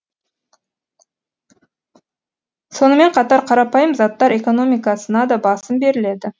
сонымен қатар қарапайым заттар экономикасына да басым беріледі